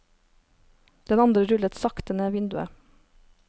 Den andre rullet sakte ned vinduet.